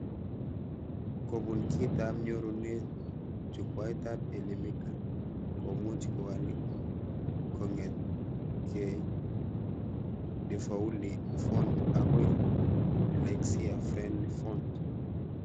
Kobun kitab nyorunet, jukwaitab Elimika komuch kowal kongetke defauli font akoi dyslexia-friendly font